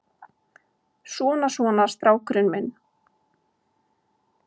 Svona, svona, strákurinn minn.